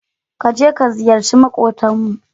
Ka je ka ziyarci maƙotanmu.